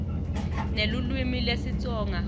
nelulwimi lesitsonga